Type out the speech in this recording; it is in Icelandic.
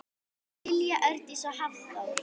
Lilja Hjördís og Hafþór.